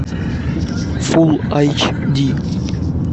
фул айч ди